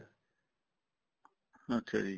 ਅੱਛਾ ਜੀ